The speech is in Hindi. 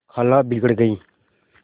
खाला बिगड़ गयीं